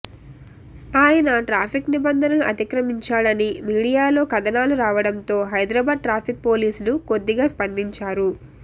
ఆయన ట్రాఫిక్ నిబంధనలు అతిక్రమించాడని మీడియాలో కథనాలు రావడంతో హైదరాబాద్ ట్రాఫిక్ పోలీసులు కొద్దిగా స్పందించారు